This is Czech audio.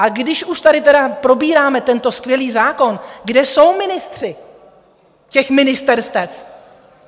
A když už tady tedy probíráme tento skvělý zákon, kde jsou ministři těch ministerstev?